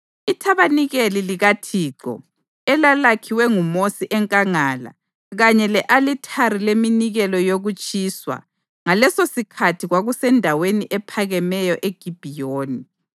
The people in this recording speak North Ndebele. Ithabanikeli likaThixo, elalakhiwe nguMosi enkangala, kanye le-alithari leminikelo yokutshiswa ngalesosikhathi kwakusendaweni ephakemeyo eGibhiyoni.